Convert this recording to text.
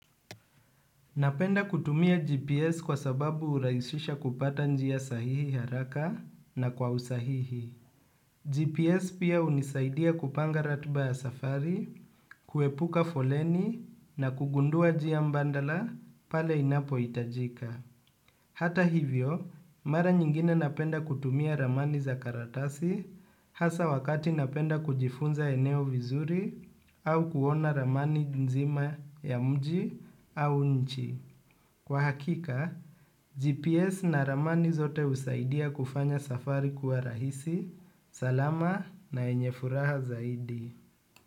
Napenda kutumia GPS kwa sababu uraisisha kupata njia sahihi haraka na kwa usahihi. GPS pia unisaidia kupanga ratiba ya safari, kuepuka foleni na kugundua jia mbandala pale inapo itajika. Hata hivyo, mara nyingine napenda kutumia ramani za karatasi hasa wakati napenda kujifunza eneo vizuri au kuona ramani nzima ya mji au nchi. Kwa hakika, GPS na ramani zote usaidia kufanya safari kuwa rahisi. Salama na enyefuraha zaidi.